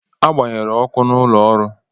A agbanyere ọkụ n’ụlọọrụ